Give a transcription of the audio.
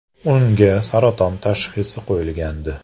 Unga saraton tashxisi qo‘yilgandi.